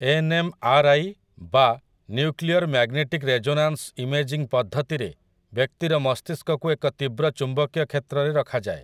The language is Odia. ଏନ୍‌ଏମ୍‌ଆର୍‌ଆଇ ବା ନ୍ୟୁକ୍ଲିୟର୍ ମେଗ୍ନେଟିକ୍ ରେଜୋନାନ୍ସ୍ ଇମେଜିଙ୍ଗ୍ ପଦ୍ଧତିରେ ବ୍ୟକ୍ତିର ମସ୍ତିଷ୍କକୁ ଏକ ତୀବ୍ର ଚୁମ୍ବକୀୟ କ୍ଷେତ୍ରରେ ରଖାଯାଏ ।